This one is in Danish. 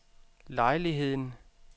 lejligheden